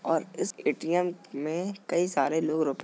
और इस ए.टी.एम. में कई सारे लोग रुपये --